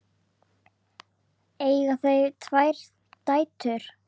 Eiga þau tvær dætur.